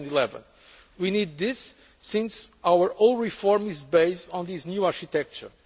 of 2011. We need this since our whole reform is based on this new architecture.